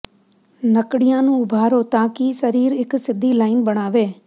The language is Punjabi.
ਨੱਕੜੀਆਂ ਨੂੰ ਉਭਾਰੋ ਤਾਂ ਕਿ ਸਰੀਰ ਇਕ ਸਿੱਧੀ ਲਾਈਨ ਬਣਾਵੇ